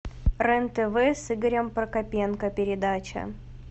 рен тв с игорем прокопенко передача